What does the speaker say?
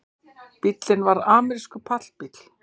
Bíllinn var amerískur pallbíll